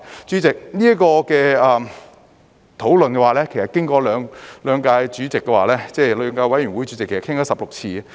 主席，這方面的討論其實經過了兩個法案委員會，討論了16次。